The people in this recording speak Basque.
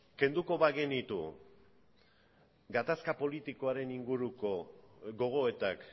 kenduko bagenitu gatazka politikoaren inguruko gogoetak